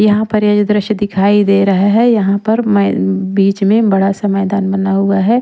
यहाँ पर ये जो दृश्य दिखाई दे रहा है यहाँ पर मै बीच में बड़ा सा मैदान बना हुआ है।